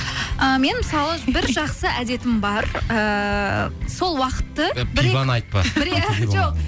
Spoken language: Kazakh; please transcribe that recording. ыыы мен мысалы бір жақсы әдетім бар ііі сол уақытты пиваны айтпа